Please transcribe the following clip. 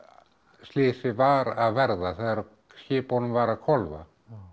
slysið var að verða þegar skipunum var að hvolfa